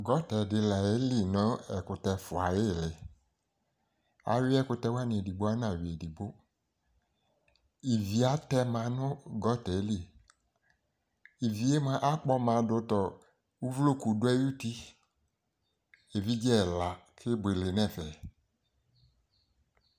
Gutterdɩ la yeli nʋ ɛkʋtɛ fua ayili, ayui ɛkʋtɛwanɩ edigbo, ana yui edigbo Ivi atɛma nʋ gutter li Ivi yɛ mʋa akpɔma dʋ tɔ uvloku dʋ ay'uti, evidze ɛla kebuele n'ɛfɛ